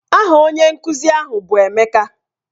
Aha onye nkuzi ahụ bụ Emeka.